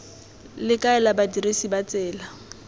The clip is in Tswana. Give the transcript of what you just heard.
le kaela badirisi ba tsela